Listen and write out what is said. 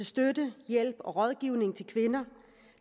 støtte hjælp og rådgivning til kvinder